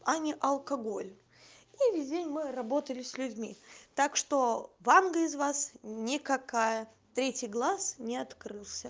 а не алкоголь и весь день мы работали с людьми так что ванга из вас никакая третий глаз не открылся